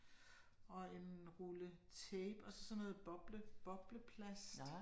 Og en rulle tape og så sådan noget boble bobleplast